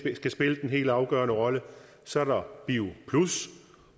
skal spille den helt afgørende rolle så er der bio